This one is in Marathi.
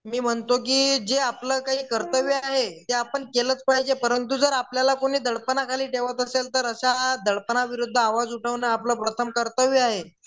मी म्हणतो की जे आपलं काय कर्त्यव्य आहे ते आपण केलंच पाहिज परंतु जर आपल्यला कोनी दडपना खाली ठेवत असेल तर आश्या दडपना विरुद्ध आवाज उठवने आपल प्रथम कर्तव्य आहे.